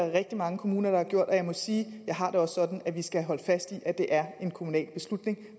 rigtig mange kommuner der har gjort og jeg må sige at jeg har det også sådan at vi skal holde fast i at det er en kommunal beslutning